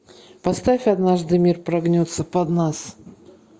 поставь однажды мир прогнется под нас